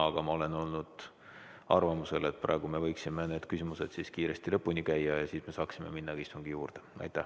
Aga ma olen olnud arvamusel, et praegu me võiksime need küsimused kiiresti lõpuni käia ja siis me saaksime minna istungi juurde.